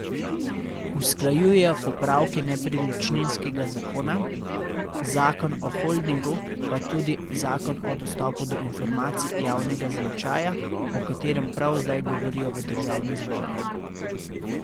Usklajujejo popravke nepremičninskega zakona, zakon o holdingu pa tudi zakon o dostopu do informacij javnega značaja, o katerem prav zdaj govorijo v državnem zboru.